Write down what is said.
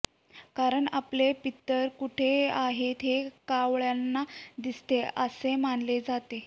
कारण आपले पितर कुठे आहेत हे कावळ्यांना दिसते असे मानले जाते